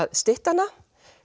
stytta hana